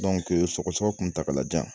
sɔgɔsɔgɔ kuntagalajan